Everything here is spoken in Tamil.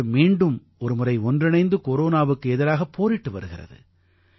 நாடு மீண்டும் ஒருமுறை ஒன்றிணைந்து கொரோனாவுக்கு எதிராகப் போரிட்டு வருகிறது